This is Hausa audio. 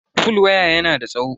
fol waya yana da tsawo.